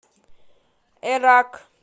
эрак